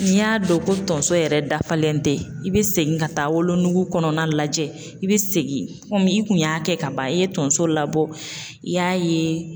N'i y'a dɔn ko tonso yɛrɛ dafalen tɛ, i be segin ka taa wolonugu kɔnɔna lajɛ, i be segin kɔmi i kun y'a kɛ ka ban, i ye tonso labɔ i y'a ye